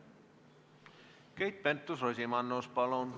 Keit Pentus-Rosimannus, palun!